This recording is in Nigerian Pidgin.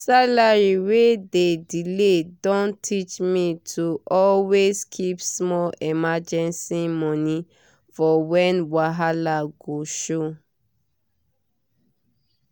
salary wey dey delay don teach me to always keep small emergency money for when wahala go show